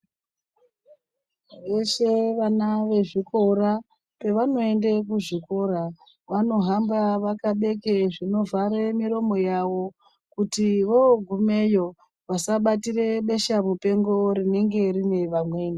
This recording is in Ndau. Vose vana vezvikora pevanoende kuzvikora vanohamba vakabeke zvinovhare miromo yawo kuti wogumeyo vasabatire beshamupengo rinenge rine vamweni.